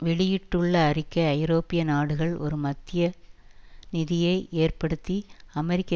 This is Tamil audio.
வெளியிட்டுள்ள அறிக்கை ஐரோப்பிய நாடுகள் ஒரு மத்திய நிதியை ஏற்படுத்தி அமெரிக்க